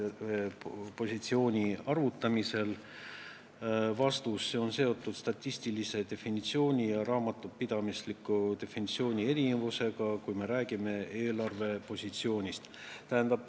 Vastus: kui me räägime eelarvepositsioonist, siis see on seotud statistilise definitsiooni ja raamatupidamisliku definitsiooni erinevusega.